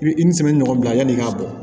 I bi i ni sɛbɛ ɲɔgɔn bila yan'i k'a bɔ